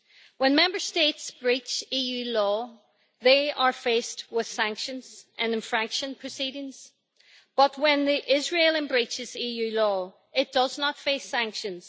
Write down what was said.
When Member States breach EU law, they are faced with sanctions and infraction proceedings, but when Israel breaches EU law, it does not face sanctions.